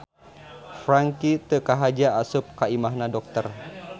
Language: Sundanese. Franky teu kahaja asup ka imahna dokter